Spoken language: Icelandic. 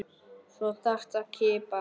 Svo þarf að kippa.